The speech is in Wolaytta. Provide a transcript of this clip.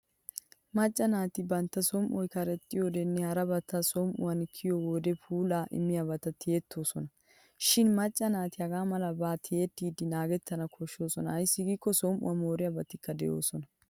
Macca naati bantta som'oy karexxiyyodenne harabati som'uwan kiyiyo wode puulaa immiyaabata toyettoosona. Shin macca naati hagaa malaba tiyettiiddi naagettana koshshoosona ayssi giikko som'uwaa mooriyabatikka doosona.